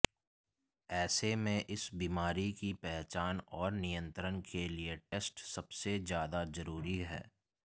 ऐसे में इस बीमारी की पहचान और नियंत्रण के लिए टेस्ट सबसे ज्यादा जरूरी है